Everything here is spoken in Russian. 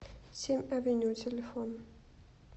семь авеню телефон